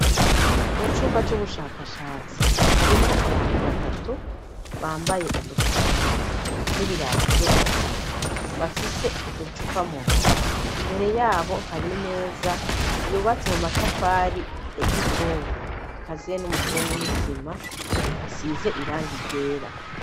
Mu cumba c'ubushakashatsi harimwo abantu batatu bambaye udufukamunwa n'ibirato vyo mu ntoke ,bafise uducupa mu ntoke imbere yabo hari meza yubatse mu matafari ya kizungu ikaziye n'umusenyi n'isima ntisize irangi ryera.